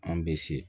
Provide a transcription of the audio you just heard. An bɛ se